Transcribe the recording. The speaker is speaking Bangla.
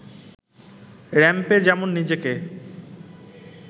র‌্যাম্পে যেমন নিজেকে